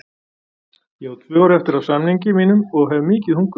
Ég á tvö ár eftir af samningi mínum og hef mikið hungur.